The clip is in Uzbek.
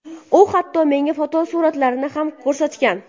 U hatto menga fotosuratlarini ham ko‘rsatgan.